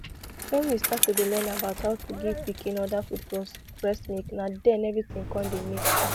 when we start to dey learn about how to give pikin other food plus breast milk na then everything con dey make sense